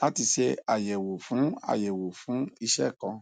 lati ṣe ayẹwo fun ayẹwo fun iṣẹ kan